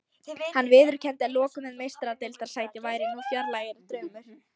Hann viðurkenndi að lokum að Meistaradeildarsæti væri nú fjarlægari draumur.